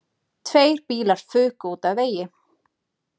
Tveir bílar fuku út af vegi